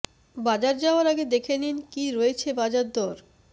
বাজার যাওয়ার আগে দেখে নিন কি রয়েছে বাজার দর